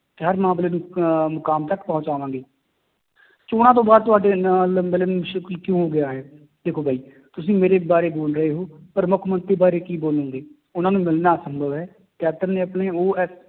ਤੇ ਹਰ ਮਾਮਲੇ ਨੂੰ ਅਹ ਮੁਕਾਮ ਤੱਕ ਪਹੁੰਚਾਵਾਂਗੇ ਚੌਣਾਂ ਤੋਂ ਬਾਅਦ ਤੁਹਾਡੇ ਨਾਲ ਕਿਉਂ ਹੋ ਗਿਆ ਹੈ, ਦੇਖੋ ਬਾਈ ਤੁਸੀਂ ਮੇਰੇ ਬਾਰੇ ਬੋੋਲ ਰਹੇ ਹੋ, ਪਰ ਮੁੱਖ ਮੰਤਰੀ ਬਾਰੇ ਕੀ ਬੋਲੋਂਗੇ ਉਹਨਾਂ ਨੂੰ ਮਿਲਣਾ ਅਸੰਭਵ ਹੈ, ਕੈਪਟਨ ਨੇ ਆਪਣੇ ਉਹ